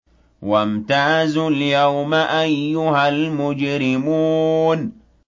وَامْتَازُوا الْيَوْمَ أَيُّهَا الْمُجْرِمُونَ